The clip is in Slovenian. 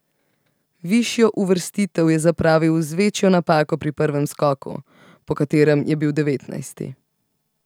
Višjo uvrstitev je zapravil z večjo napako pri prvem skoku, po katerem je bil devetnajsti.